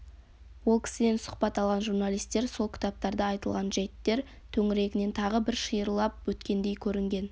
ол кісіден сұхбат алған журналистер сол кітаптарда айтылған жәйттер төңірегінен тағы бір шиырлап өткендей көрінген